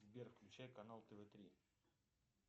сбер включай канал тв три